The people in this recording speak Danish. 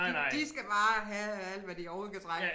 De de skal bare have alt hvad de overhovedet kan trække